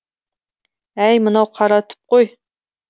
әй мынау қаратүп қой